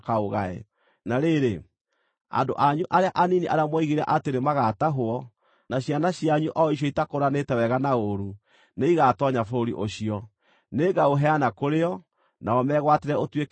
Na rĩrĩ, andũ anyu arĩa anini arĩa mwoigire atĩ nĩmagatahwo, na ciana cianyu o icio itakũũranĩte wega na ũũru, nĩigatoonya bũrũri ũcio. Nĩngaũheana kũrĩ o, nao megwatĩre ũtuĩke wao.